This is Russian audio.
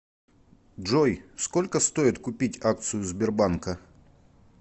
джой сколько стоит купить акцию сбербанка